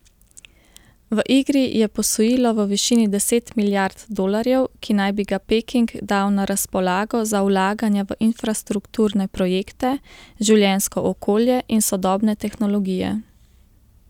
V igri je posojilo v višini deset milijard dolarjev, ki naj bi ga Peking dal na razpolago za vlaganja v infrastrukturne projekte, življenjsko okolje in sodobne tehnologije.